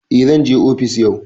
A zanje ofis yau